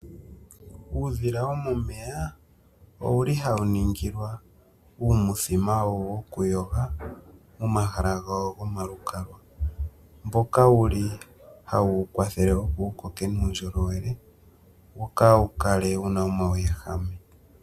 Uudhila womomeya ouli hauningilwa uuthima wawo wokuyoga omahala gawo gomalukalwa mboka hauwu wukwatha wukoke muundjolowele wokaawukale wuna omauwehame